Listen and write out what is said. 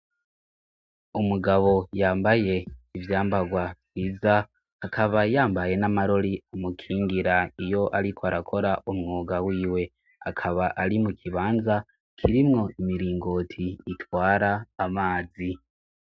Umugabo yambaye ivyambarwa vyiza, akaba yambaye n'amarori amukingira iyo ariko arakora umwuga w'iwe akaba ari mu kibanza kirimwo imiringoti itwara amazi.